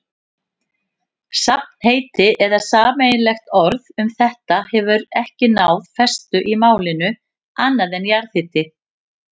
Safnheiti eða sameiginlegt orð um þetta hefur ekki náð festu í málinu, annað en jarðhiti.